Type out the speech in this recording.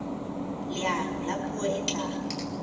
leano la puo e tla